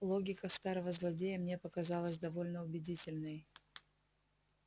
логика старого злодея мне показалась довольно убедительной